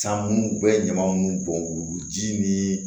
San munnu u bɛ ɲama nunnu bɔn k'u ji ni